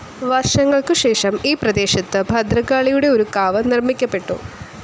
വർഷങ്ങൾക്കുശേഷം ഈ പ്രദേശത്ത് ഭദ്രകാളിയുടെ ഒരു കാവ് നിർമ്മിക്കപ്പെട്ടു.